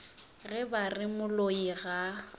ge ba re moloi ga